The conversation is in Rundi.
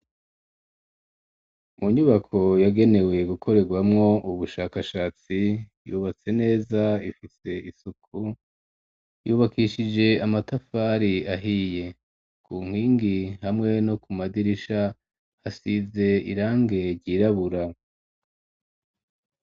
Mu nyubako yagenewe gukorerwamwo ubushakashatsi yubatse neza ifise isuku yubakishije amatafari ahiye ku nkingi hamwe no ku madirisha hasize irange ryirabura.